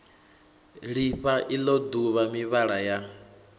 lifha ilo duvha mivhala ya